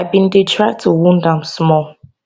i bin dey try to wound am small